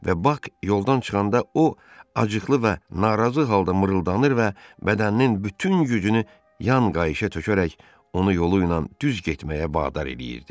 Və Bak yoldan çıxanda o acıqlı və narazı halda mırıldanır və bədəninin bütün gücünü yan qayışa tökərək onu yolu ilə düz getməyə bədar eləyirdi.